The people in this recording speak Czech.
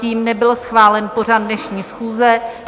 Tím nebyl schválen pořad dnešní schůze.